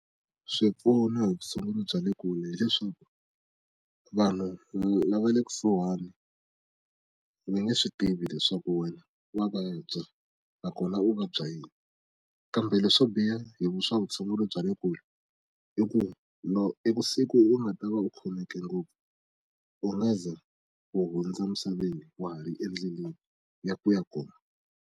Swipfuno hi vutshunguri bya le kule hileswaku, vanhu lava le kusuhani va nge swi tivi leswaku wena wa vabya va kona ku vabya yini. Kambe leswo biha hi swa vutshunguri bya le kule i ku i ku siku u nga ta va u khomeke ngopfu, u nga ze u hundze misaveni wa ha ri endleleni ya ku ya kona.